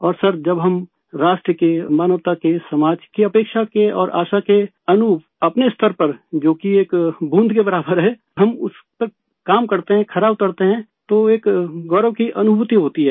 और सर जब हम राष्ट्र के मानवता के समाज के अपेक्षा के और आशा के अनुरूप अपने स्तर पर जो कि एक बूंद के बराबर है हम उसपे काम करते हैंखरा उतरते है तो एक गौरव की अनुभूति होती है